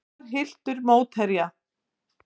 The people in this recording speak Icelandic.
Veigar hylltur af mótherja